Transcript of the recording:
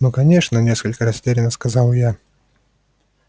ну конечно несколько растеряно сказала я